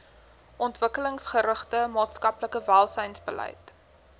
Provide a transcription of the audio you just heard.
ontwikkelingsgerigte maatskaplike welsynsbeleid